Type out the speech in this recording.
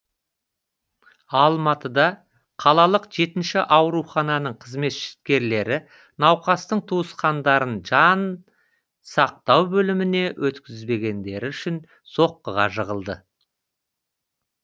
алматыда қалалық жетінші аурухананың қызметкерлері науқастың туысқандарын жан сақтау бөліміне өткізбегендері үшін соққыға жығылды